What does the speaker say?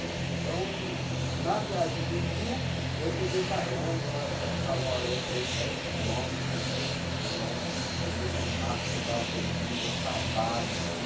Então, na viagem do Sul, eu peguei carona, eu, eh, falo, andei dez quilômetros, dez, quinze quilômetros, no meio de um mato que eu estava perdido, acabado assim.